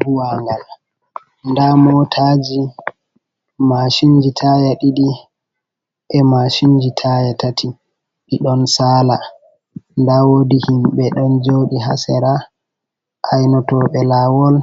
Buwangal, nda motaji, mashinji taya ɗiɗi, e mashinji taya tati, ɗiɗon sala, nda wodi himbe don joɗi ha sera ainotoɓe lawol